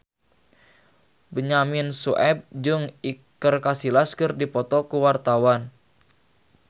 Benyamin Sueb jeung Iker Casillas keur dipoto ku wartawan